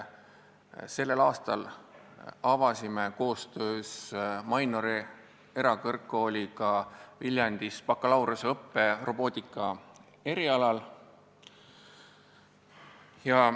Sellel aastal avasime koostöös Mainori erakõrgkooliga Viljandis bakalaureuseõppe robootika erialal.